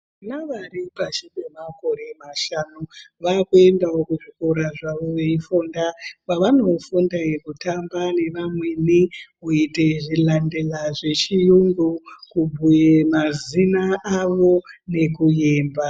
Vana vari pashi pemakore mashanu vakuendawo kuzvikora zvavo veifunda kwavanofunde kutamba nevamweni, kuite zvilandela zvechiyungu, kubhuye mazina avo nekuyemba.